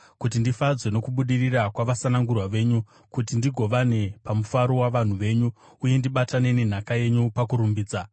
kuti ndifadzwe nokubudirira kwavasanangurwa venyu, kuti ndigovane pamufaro wavanhu venyu, uye ndibatane nenhaka yenyu pakurumbidza.